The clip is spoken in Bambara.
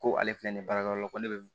Ko ale filɛ nin ye baarakɛyɔrɔ la ko ne bɛ